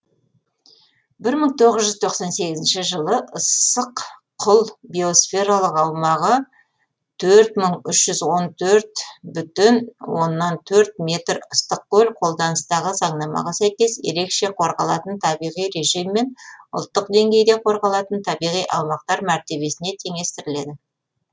бір мың тоғыз жұз тоқсан сегізінші жылы ыссық құл биосфералық аумағы төрт мың үш жүз он төрт бүтін оннан төрт метр ыстықкөл қолданыстағы заңнамаға сәйкес ерекше қорғалатын табиғи режиммен ұлттық деңгейде қорғалатын табиғи аумақтар мәртебесіне теңестіріледі